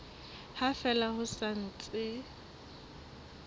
ha fela ho sa ntse